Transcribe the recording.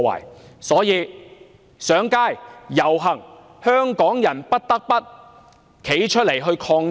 故此，要上街、要遊行，香港人不得不站出來抗爭。